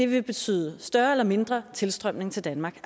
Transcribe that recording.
vil betyde større eller mindre tilstrømning til danmark